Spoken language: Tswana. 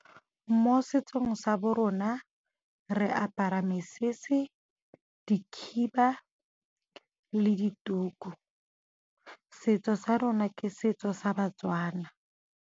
Mo setsong sa bo rona re apara mesese, dikhiba le dituku. Setso sa rona ke setso sa ba-Tswana.